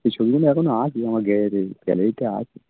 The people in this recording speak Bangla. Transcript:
এই ছবিগুলো এখনো আছে আমার gallary gallary তে আছে